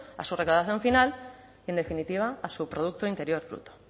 a su recaudación final y en definitiva a su producto interior bruto